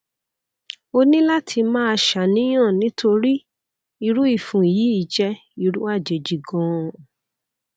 o ní láti máa ṣàníyàn nítorí irú ìfun yìí jẹ irú àjèjì ganan